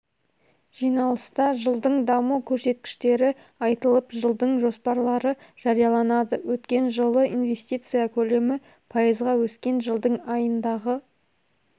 жиналыста жылдың даму көрсеткіштері айтылып жылдың жоспарлары жарияланады өткен жылы инвестиция көлемі пайызға өскен жылдың айындағы